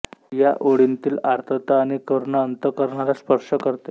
या ओळींतील आर्तता आणि करुणा अंतःकरणाला स्पर्श करते